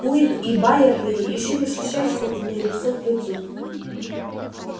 куинн и байерли ещё не встречались наедине лицом к лицу